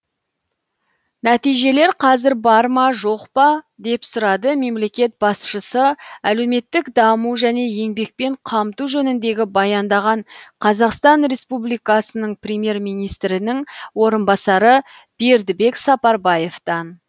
нәтижелер қазір бар ма жоқ па деп сұрады мемлекет басшысы әлеуметтік даму және еңбекпен қамту жөнінде баяндаған қазақстан республикасының премьер министрінің орынбасары бердібек сапарбаевтан